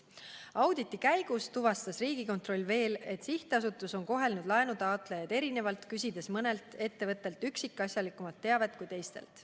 Auditi käigus tuvastas Riigikontroll veel seda, et sihtasutus on kohelnud laenutaotlejaid erinevalt, küsides mõnelt ettevõttelt üksikasjalikumat teavet kui teistelt.